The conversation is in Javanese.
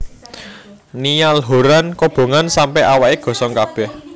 Niall Horran kobongan sampe awake gosong kabeh